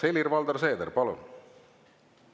Helir-Valdor Seeder, palun!